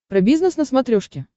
про бизнес на смотрешке